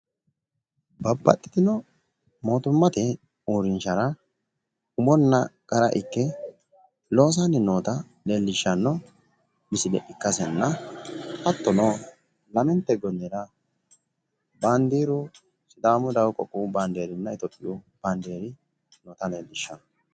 Babbaxxitino mootimmate uurrinshara umonna qara ikke loosanni noota lellishshanno misile ikkasenna hattono lamente gonnera baandiiru sidaamu qoqqowi baandeerinna iitiyoophiyu baandeeri noota leellishshanno.